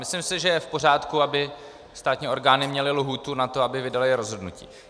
Myslím si, že je v pořádku, aby státní orgány měly lhůtu na to, aby vydaly rozhodnutí.